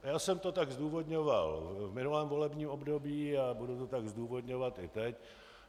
Já jsem to tak zdůvodňoval v minulém volebním období a budu to tak zdůvodňovat i teď.